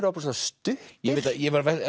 ofboðslega stuttir ég var að